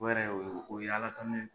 O yɛrɛ o ye ala tano ye.